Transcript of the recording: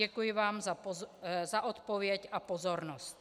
Děkuji vám za odpověď a pozornost.